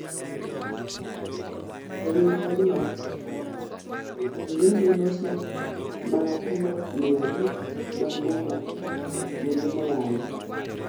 E winjruok no oyienegi loso mana kilo mia adek mag mula e kuonde moyangi